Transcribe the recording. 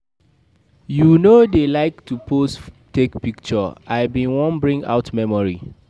You no dey like to pose take picture, I bin wan bring out memory.